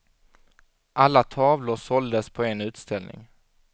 Alla tavlor såldes på en utställning.